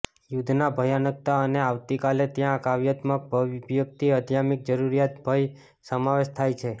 યુદ્ધના ભયાનકતા અને આવતી કાલે ત્યાં કાવ્યાત્મક અભિવ્યક્તિ આધ્યાત્મિક જરૂરિયાત ભય સમાવેશ થાય છે